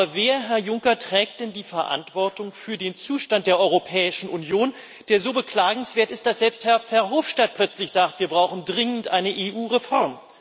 Aber wer, Herr Juncker, trägt denn die Verantwortung für den Zustand der Europäischen Union, der so beklagenswert ist, dass selbst Herr Verhofstadt plötzlich sagt Wir brauchen dringend eine EU Reform.?